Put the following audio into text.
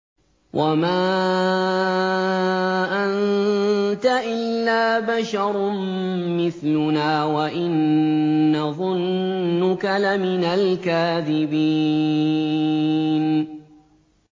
وَمَا أَنتَ إِلَّا بَشَرٌ مِّثْلُنَا وَإِن نَّظُنُّكَ لَمِنَ الْكَاذِبِينَ